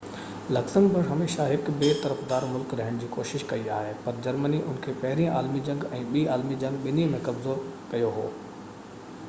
Luxembourg هميشہ هڪ بي طرفدار ملڪ رهڻ جي ڪوشش ڪئي آهي پر جرمني ان کي پهرين عالمي جنگ ۽ ٻي عالمي جنگ ٻني ۾ قبضو ڪيو هو